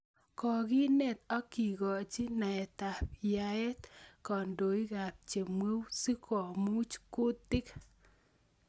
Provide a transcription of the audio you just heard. Kokineet ak kikochi naetaab yaet kandoikaab chemweu si komuuch kuutiik